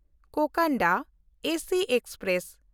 Cocanada AC express